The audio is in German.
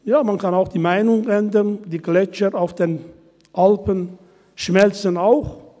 Ja, man kann auch die Meinung ändern, die Gletscher auf den Alpen schmelzen auch.